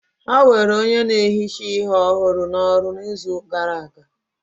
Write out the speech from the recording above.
Ha were onye na-ehicha ihe ọhụrụ n'ọrụ n'izu gara aga